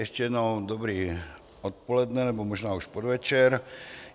Ještě jednou dobré odpoledne, nebo možná už podvečer.